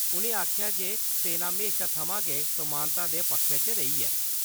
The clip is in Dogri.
उ'नें आखेआ जे सेना म्हेशा थमां गै समान्ता दे पक्खै च रेही ऐ।